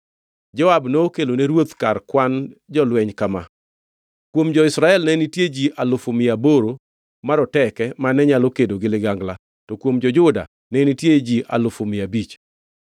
Joab nokelo ne ruoth kar kwan jolweny kama: Kuom jo-Israel ne nitie ji alufu mia aboro maroteke mane nyalo kedo gi ligangla to kuom jo-Juda ne nitie ji alufu mia abich.